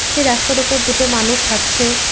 সেই রাস্তার উপর দুটো মানুষ হাঁটছে।